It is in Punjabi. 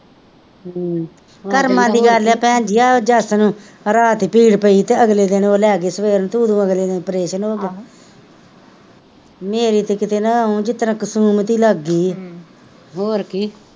ਹਮ ਕਰਮਾ ਦੀ ਗੱਲ ਏ ਭੈਣਜੀ ਜੱਸ ਨੂੰ ਰਾਤੀ ਪੀੜ ਤੇ ਅਗਲੇ ਦਿਨ ਓਹ ਲੈ ਗਏ ਸਵੇਰੇ ਤੇ ਉੱਤੋਂ ਅਗਲੇ ਦਿਨ ਪ੍ਰੇਸ਼ਨ ਹੋ ਗਿਆ, ਮੇਰੀ ਤਾਂ ਨਾਂ ਕੀਤੇ ਉਂਝ ਇੱਕ ਤਰਾਂ ਕਿਸਮਿਤ ਲੱਗ ਗੀ ਹੀ ਹਮ ਹੋਰ ਕੀ,